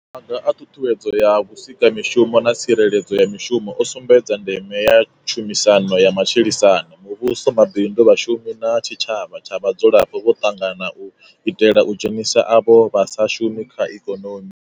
Maga a ṱhuṱhuwedzo ya vhusikamishumo na tsireledzo ya mishumo o sumbedza ndeme ya tshumisano ya matshilisano. Muvhuso, mabindu, vhashumi na tshi tshavha tsha vhadzulapo vho ṱangana u itela u dzhenisa avho vha sa shumi kha ikonomi.